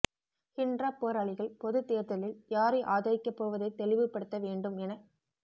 ஹிண்ட்ராப் போராளிகள் பொதுத் தேர்தலில் யாரை ஆதரிக்கப் போவதை தெளிவுபடுத்த வேண்டும் எனக்